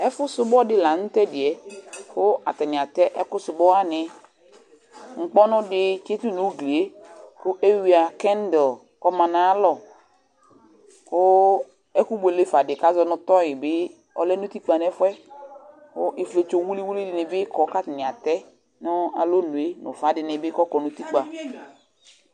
ɛfu sumu dɩ lanutɛ, kʊ atanɩ atɛ ɛkʊ sumuwanɩ, nʊkpɔnʊ dɩ tsitʊ nʊ ugli yɛ, kʊ ewuia kendo kʊ ɔma nʊ ayalɔ, kʊ ibuele kʊ dɩnɩ bɩ lɛ nʊ utikpǝ nʊ ɛfʊ yɛ, kʊ ifietso wiliwili dɩnɩ bɩ lɛ ɔtɛ lɛ nʊ alonu kʊ ufa dɩnɩ bɩ kɔ nʊ utikpǝ